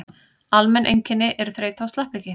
almenn einkenni eru þreyta og slappleiki